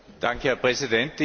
Herr Präsident!